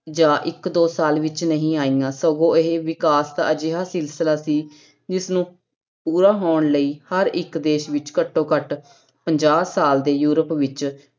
ਜਾਂ ਇੱਕ ਦੋ ਸਾਲ ਵਿੱਚ ਨਹੀਂ ਆਈਆਂ, ਸਗੋਂ ਇਹ ਵਿਕਾਸ ਦਾ ਅਜਿਹਾ ਸਿਲਸਿਲਾ ਸੀ ਜਿਸਨੂੰ ਪੂਰਾ ਹੋਣ ਲਈ ਹਰ ਇੱਕ ਦੇਸ ਵਿੱਚ ਘੱਟੋ ਘੱਟ ਪੰਜਾਹ ਸਾਲ ਦੇ ਯੂਰਪ ਵਿੱਚ